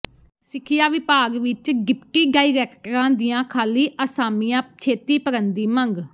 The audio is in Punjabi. ਸਿੱਖਿਆ ਵਿਭਾਗ ਵਿੱਚ ਡਿਪਟੀ ਡਾਇਰੈਕਟਰਾਂ ਦੀਆਂ ਖਾਲੀ ਅਸਾਮੀਆਂ ਛੇਤੀ ਭਰਨ ਦੀ ਮੰਗ